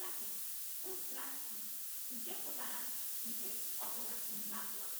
Site na okwu Latịn utraque, nke pụtara "nke ọ bụla n'ime abụọ."